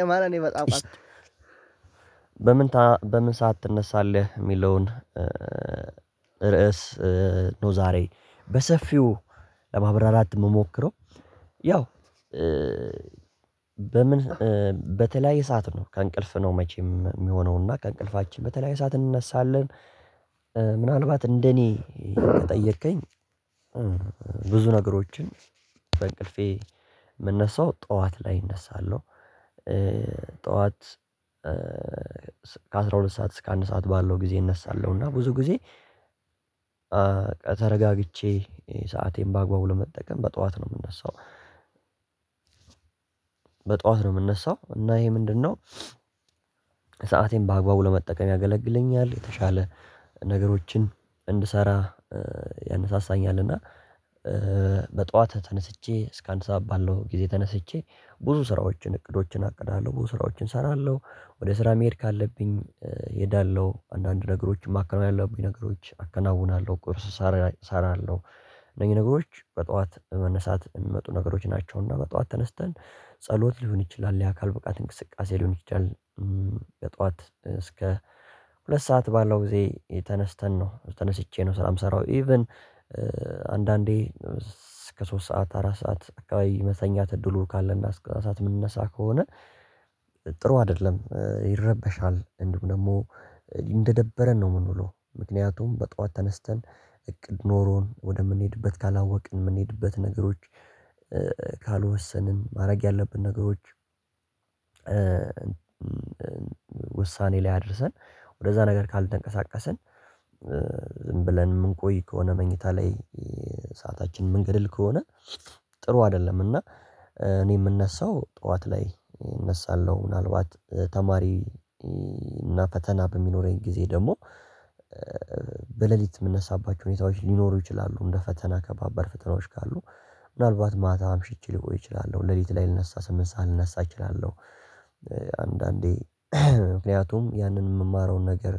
የማንን የመጽሐፍ በምን በምን ሰዓት ትነሳለህ ሚለውን ርዕስ ነው? ዛሬ በሰፊው ለማብራራት ምሞክረው። ያው በምን በተለያየ ሰዓት ነው ከእንቅልፍ ነው መቼም ሚሆነው። እና ከእንቅልፋችን በተለይ ሰዓት እንነሳለን። ምናልባት እንደኔ ከጠየቀኝ ብዙ ነገሮችን በእንቅልፌ የምነሳው ጠዋት ላይ እነሳለሁ። ጠዋት ከአስራ ሁለት ሰዓት እስከ አንድ ሰዓት ባለው ጊዜ እነሳለሁ። እና ብዙ ጊዜ ተረጋግቼ ሰአቴን በአግባቡ ለመጠቀም በጧት ነው። ምንነሳው። በጧት ነው ምነሳው። እና ይሄ ምንድነው? ሰአቴን በአግባቡ ለመጠቀም ያገለግለኛል የተሻለ ነገሮችን እንድሰራ ያነሳሳኛል። እና በጧት ተነስቼ እስከ አንድ ሰዓት ባለው ጊዜ ተነስቼ ብዙ ስራዎችን እቅዶችን አቅድሃለሁ። ብዙ ስራዎችን እሰራለሁ ወደ ስራ መሄድ ካለብኝ እሄዳለሁ። አንዳንድ ነገሮችን ማከናወን ያለብኝ ነገሮች አከናውናለሁ። ቁርስ እሰራለሁ። እነዚህ ነገሮች በጠዋት መነሳት የሚመጡ ነገሮች ናቸውና በጠዋት ተነስተን ጸሎት ሊሆን ይችላል የአካል ብቃት እንቅስቃሴ ሊሆን ይችላል። በጧት እስከ ሁለት ሰዓት ባለው ጊዜ ተነስተን ነው ተነስቼ ነው ስራም ሰራሁ። ኢቭን አንዳንዴ እስከ ሶስት ሰዓት አራት ሰዓት አካባቢ መተኛት እድሉ ካለና እስከ አስራ አንድ ምንነሳ ከሆነ። ጥሩ አይደለም ይረበሻል እንዲውም ደግሞ እንደደበረን ነው። ምን ብሎ ምክንያቱም በጧት ተነስተን እቅድ ኖሮን ወደምንሄድበት ካላወቅን የምንሄድበት ነገሮች ካልወሰንን ማድረግ ያለብን ነገሮች። ውሳኔ ላይ አድርሰን ወደዛ ነገር ካልተንቀሳቀስን። ዝም ብለን ምንቆይ ከሆነ መኝታ ላይ ሰዓታችን የምንገድል ከሆነ ጥሩ አይደለም። እና እኔ ምነሳው ጠዋት ላይ እነሳለሁ። ምናልባት ተማሪ እና ፈተና በሚኖረኝ ጊዜ ደግሞ በሌሊት ምነሳባቸው ሁኔታዎች ሊኖሩ ይችላሉ። እንደ ፈተና ከባባድ ፈተናዎች ካሉ ምናልባት ማታ አምሽቼ ሊቆይ እችላለሁ ሌሊት ላይ ልነሳ ስምንት ሰዓት ልነሳ እችላለሁ። አንዳንዴ ምክንያቱም ያንን ምማረውን ነገር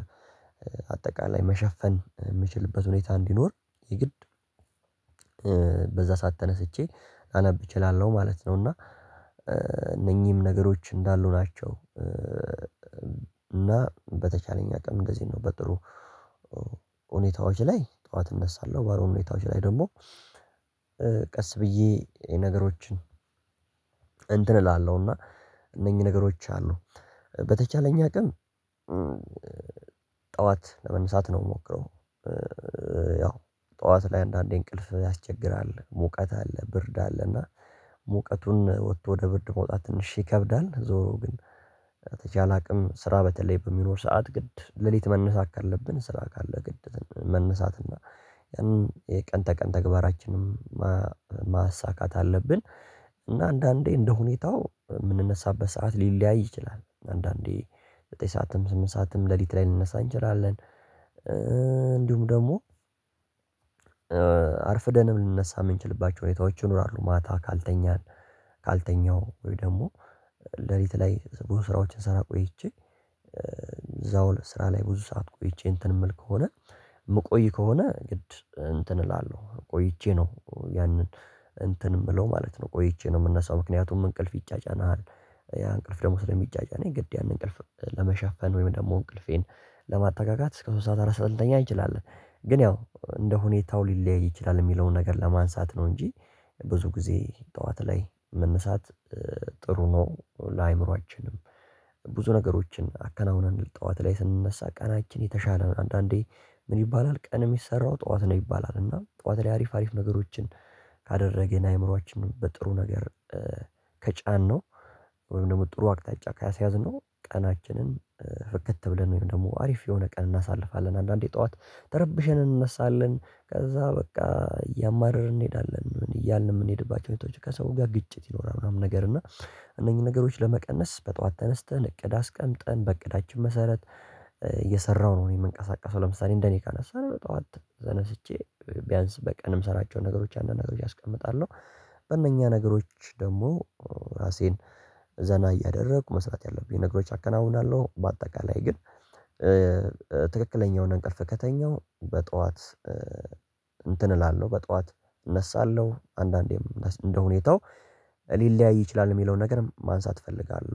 አጠቃላይ መሸፈን ምችልበት ሁኔታ እንዲኖር የግድ በዛ ሰዓት ተነስቼ ላነብ እችላለሁ ማለት ነው። እና ነገሮች እንዳሉ ናቸው። እና በተቻለኝ አቅም እንደዚህ ነው በጥሩ ሁኔታዎች ላይ ጠዋት እነሳለሁ። ባሎሆኑ ሁኔታዎች ላይ ደግሞ ቀስ ብዬ ነገሮችን እንትን እላለሁና እነኚህ ነገሮች አሉ። በተቻለኝ አቅም ጠዋት ለመነሳት ነው የምሞክረው። ያው ጠዋት ላይ አንዳንዴ እንቅልፍ ያስቸግራል። ሙቀት አለ ብርድ አለ እና ሙቀቱን ወቶ ወደ ብርድ መውጣት ትንሽ ይከብዳል። ዞሮ ግን ተቻለ አቅም ስራ በተለይ በሚኖር ሰዓት ግድ ሌሊት መነሳት ካለብን ስራ ካለ ግድት መነሳት እና። ያንን የቀን ተቀን ተግባራችንም ማሳካት አለብን። እና አንዳንዴ እንደሁኔታው ምንነሳበት ሰዓት ሊለያይ ይችላል። አንዳንዴ ዘጠኝ ሳዓትም ስምንት ሰዓትም ሌሊት ላይ ልንነሳ እንችላለን። እንዲሁም ደግሞ አርፍደንም ልንነሳ ምንችልባቸው ሁኔታዎች ይኖራሉ። ማታ ካልተኛን ካልተኛው ወይ ደግሞ ሌሊት ላይ ብዙ ስራዎችን ስራ ቆይቼ እዛው ስራ ላይ ብዙ ሰዓት ቆይቼ እንትን የምል ከሆነ የምቆይ ከሆነ ግድ እንትን እላለሁ። ቆይቼ ነው ያንን እንትን ምለው ማለት ነው። ቆይቼ ነው የምነሳው ምክንያቱም እንቅልፍ ይጫጫናል። ያ እንቅልፍ ደግሞ ሰለሚጫጫነኝ ግድ ያንን እንቅልፍ ለመሸፈን ወይም ደግሞ እንቅልፌን ለማጠጋጋት እስከ ሶስት ሰዓት አራት ሳዓት ልተኛ እንችላለን። ግን ያው እንደ ሁኔታው ሊለያይ ይችላል። የሚለውን ነገር ለማንሳት ነው እንጂ ብዙ ጊዜ ጠዋት ላይ መነሳት ጥሩ ነው። ለአእምሮአችንም ብዙ ነገሮችን አከናውነን ጠዋት ላይ ስንነሳ ቀናችን የተሻለ አንዳንዴ ምን ይባላል ቀን ሚሰራው ጠዋት ነው ይባላል። እና ጠዋት ላይ አሪፍ ነገሮችን ካደረገ አእምሮአችን በጥሩ ነገር ከጫነው ወይም ደግሞ ጥሩ አቅጣጫ ካስያዝነው ቀናችንን ፍክት ብለን ወይም ደግሞ አሪፍ የሆነ ቀን እናሳልፋለን። አንዳንዴ ጠዋት ተርበሸን እንነሳለን ከዛ በቃ እያማረር እንሄዳለን እያልን የምንሄድባቸው ከሰው ጋር ግጭት ይኖራል። ምናምን ነገር እና እነኚህ ነገሮች ለመቀነስ በጧት ተነስተን እቅድ አስቀምጠን በእቅዳችን መሰረት እየሰራሁ ነው። የምንቀሳቀሰው ለምሳሌ እንደኔ ካነሳነው በጡዋት ተነስቼ ቢያንስ በቀንም ሰራቸው ነገሮች አንድ ነገሮች አስቀምጣለሁ በእነኛ ነገሮች ደግሞ ራሴን ዘና እያደረጉ መስራት ያለብኝ ነገሮች አከናውናለሁ። በአጠቃላይ ግን ትክክለኛው ነገር ከተገኘው በጠዋት እንትን እላለሁ በጥዋት እነሳለሁ አንዳንዴም እንደሁኔታው ሊለያይ ይችላል። የሚለውን ነገርም ማንሳት እፈልጋለሁ